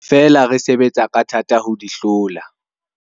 Feela re sebetsa ka thata ho di hlola.